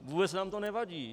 Vůbec nám to nevadí.